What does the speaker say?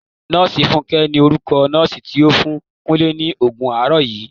Nọọsi fúnké ni orúkọ nọọsi ti o fún Kúnlé ni Ògùn làárọ̀ yii.